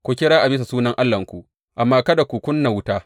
Ku kira a bisa sunan allahnku, amma kada ku ƙuna wuta.